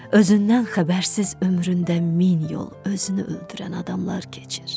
Özündən xəbərsiz ömründə min yol özünü öldürən adamlar keçir.